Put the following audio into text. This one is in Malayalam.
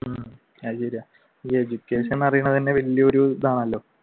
അത് ശരിയാ ഈ education അറിയുന്നത് വലിയ ഒരു ഇതാണല്ലോ.